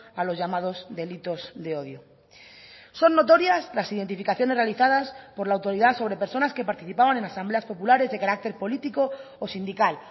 a los llamados delitos de odio son notorias las identificaciones realizadas por la autoridad sobre personas que participaban en asambleas populares de carácter político o sindical